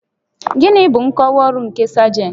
Gịnị bụ nkọwa ọrụ nke sajentị?